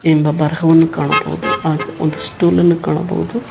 ಎಂಬ ಬರಹವನ್ನು ಕಾಣಬಹುದು ಹಾಗೆ ಒಂದು ಸ್ಟೂಲ್ ಅನ್ನು ಕಾಣಬಹುದು.